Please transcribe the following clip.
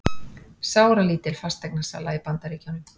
Sáralítil fasteignasala í Bandaríkjunum